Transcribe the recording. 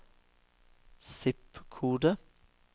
zip-kode